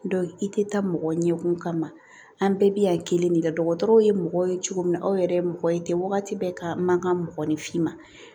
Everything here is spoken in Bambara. i tɛ taa mɔgɔ ɲɛkun kama an bɛɛ bɛ yan kelen de la dɔgɔtɔrɔw ye mɔgɔ ye cogo min na aw yɛrɛ ye mɔgɔ ye ten wagati bɛ ka mankan mɔgɔninfinma